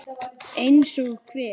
Eins og hver?